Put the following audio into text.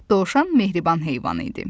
Dovşan mehriban heyvan idi.